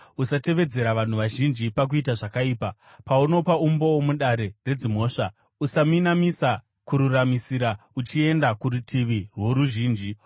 “Usatevedzera vanhu vazhinji pakuita zvakaipa. Paunopa umboo mudare redzimhosva, usaminamisa kururamisira uchienda kurutivi rworuzhinji,